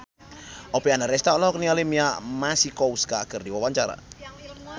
Oppie Andaresta olohok ningali Mia Masikowska keur diwawancara